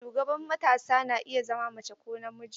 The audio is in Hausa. Shugaban matasa na iya zama mace ko namiji.